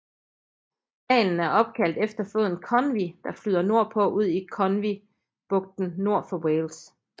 Dalen er opkaldt efter floden Conwy der flyder nordpå ud i Conwy bugten nord for Wales